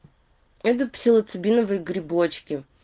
это псилоцибиновые грибочки